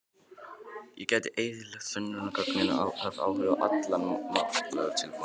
Það gæti eyðilagt sönnunargögn og haft áhrif á allan málatilbúnað.